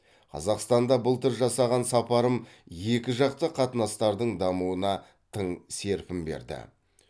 қазақстанда былтыр жасаған сапарым екіжақты қатынастардың дамуына тың серпін берді